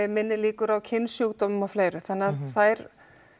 minni líkur á kynsjúkdómum og fleiru þannig þær